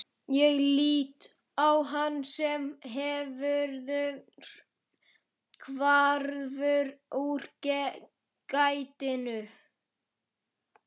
Ég lít á hann sem hverfur úr gættinni.